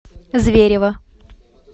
зверево